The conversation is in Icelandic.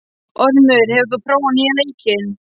Ormur, hefur þú prófað nýja leikinn?